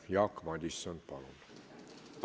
Jaak Madison, palun!